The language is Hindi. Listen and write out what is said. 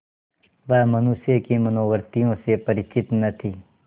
वह मनुष्य की मनोवृत्तियों से परिचित न थी